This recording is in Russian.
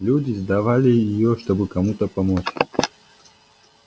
люди сдавали её чтобы кому-то помочь